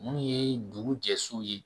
Mun ye dugu jɛ so ye